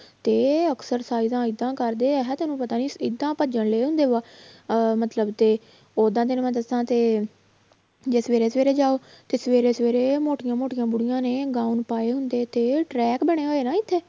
ਤੇ ਐਕਸਰਸਾਈਜਾਂ ਏਦਾਂ ਕਰਦੇ ਆ ਤੈਨੂੰ ਪਤਾ ਹੀ ਏਦਾਂ ਭੱਜਣ ਰਹੇ ਹੁੰਦੇ ਵਾ ਅਹ ਮਤਲਬ ਤੇ ਓਦਾਂ ਤੈਨੂੰ ਮੈਂ ਦੱਸਾਂ ਤੇ ਜੇ ਸਵੇਰੇ ਸਵੇਰੇ ਜਾਓ ਤੇ ਸਵੇਰੇ ਸਵੇਰੇ ਮੋਟੀਆਂ ਮੋਟੀਆਂ ਬੁੜੀਆਂ ਨੇ ਗਾਊਨ ਪਾਏ ਹੁੰਦੇ ਤੇ track ਬਣੇ ਹੋਏ ਨਾ ਇੱਥੇ